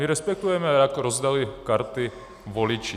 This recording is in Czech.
My respektujeme, jak rozdali karty voliči.